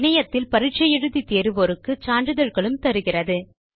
இணையத்தில் பரிட்சை எழுதி தேர்வோருக்கு சான்றிதழ்களும் தருகிறது